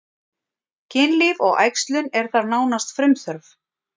Kynlíf og æxlun er þar nánast frumþörf.